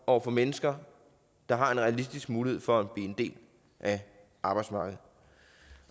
over for mennesker der har en realistisk mulighed for at blive en del af arbejdsmarkedet